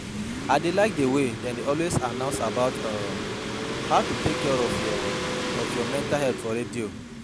I dey like the way dem dey always announce about um how to take care of your of your mental health for radio